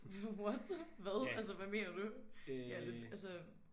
What hvad altså hvad mener du jeg er lidt altså